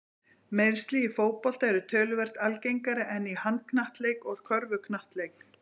Meiðsli í fótbolta eru töluvert algengari en í handknattleik og í körfuknattleik.